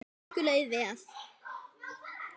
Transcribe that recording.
Okkur leið vel.